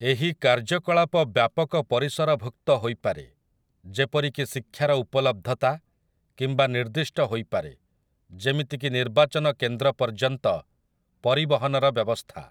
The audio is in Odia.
ଏହି 'କାର୍ଯ୍ୟକଳାପ' ବ୍ୟାପକ ପରିସରଭୁକ୍ତ ହୋଇପାରେ, ଯେପରିକି ଶିକ୍ଷାର ଉପଲବ୍ଧତା, କିମ୍ୱା ନିର୍ଦ୍ଦିଷ୍ଟ ହୋଇପାରେ, ଯେମିତିକି ନିର୍ବାଚନ କେନ୍ଦ୍ର ପର୍ଯ୍ୟନ୍ତ ପରିବହନର ବ୍ୟବସ୍ଥା ।